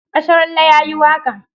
Asharalle ya yi waƙa